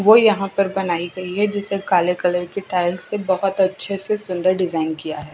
वो यहां पर बनाई गई है जिसे काले कलर की टाइल्स से बहोत अच्छे से सुंदर डिजाइन किया है।